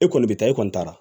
E kɔni bɛ taa e kɔni taara